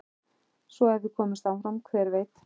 Svo ef við komumst áfram hver veit?